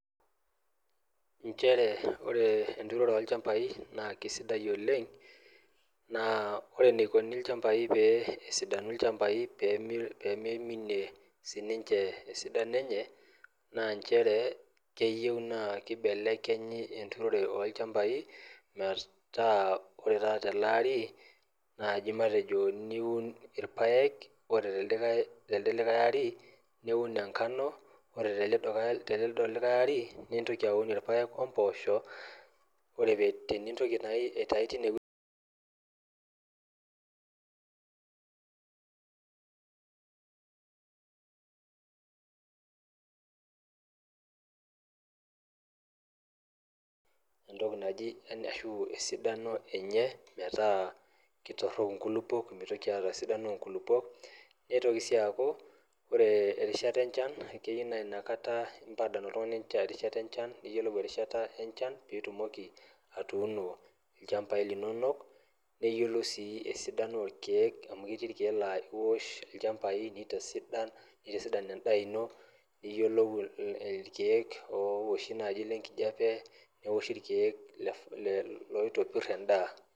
nchere ore enturore oo lchampai naa keisidai oleng` naa ore eneikuni ilchampai pee esidanu ilchampai pee meiminie sininche esidano enye naa nchere keyieu naa keibelekenyi enturore oo lchampai meeta ore taata tele ari naaji matejo niun irpayek ore telde likae arii niun enkano oree telido likae ari nintoki auun irpayek oo mposho oree teniintoki nayii aitau teine weji entoki naji arashu esidano enyee metaa keitorrok inkulukuok meitoki aata esidano oo nkulukuok neitoki sii aaku oree erishata enchan keyiu naa ina kata adol oltungani ina rishata enchan niyiolou erishata enchan piitumoki atuuno ilchampai linono neyiolou sii esidano oo rkiek amuu ketii irkiek arashu ilchampai neitasidan endaa ino niyuolou irkiek ooshi naaji lenkijape neoshi irkiek oitobirr endaa.